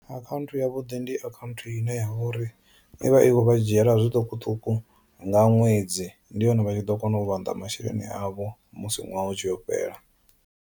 Akhaunthu ya vhuḓi ndi account ine yavha uri ivha i kho vha dzhiela zwiṱukuṱuku nga ṅwedzi ndi hone vha tshi ḓo kona u vhanḓa masheleni avho musi ṅwaha u tshi yo fhela.